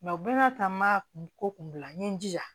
u bɛɛ ka taa n ma kun bila n ye n jija